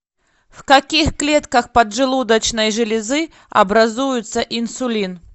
в каких клетках поджелудочной железы образуется инсулин